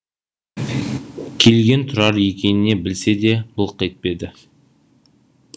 келген тұрар екеніне білсе де былқ етпеді